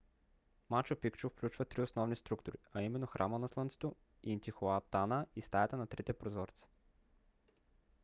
мачу пикчу включва три основни структури а именно храма на слънцето интихуатана и стаята на трите прозореца